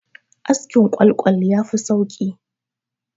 Askin ƙwal-ƙwal ya fi sauki